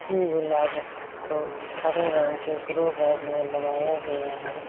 गुलाब को हरे रंग के ग्रो बैग में लगाया गया है।